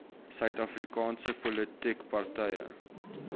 suidafrikaanse politieke partye